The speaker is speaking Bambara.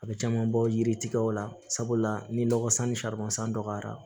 A bɛ caman bɔ yiriw la sabula ni nɔgɔ sanni dɔgɔyara